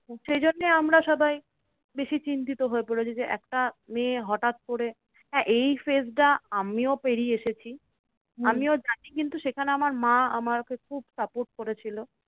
সেই জন্য আমরা সবাই বেশি চিন্তিত হয়ে পড়েছি যে, একটা মেয়ে হটাৎ করে হ্যাঁ এই age টা আমিও পেরিয়ে এসেছি। আমিও জানি কিন্তু সেখানে আমার মা আমাকে খুব support করেছিল।